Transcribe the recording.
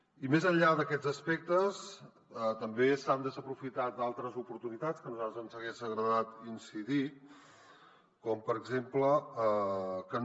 i més enllà d’aquests aspectes també s’han desaprofitat altres oportunitats que a nosaltres ens hagués agradat incidir hi com per exemple que no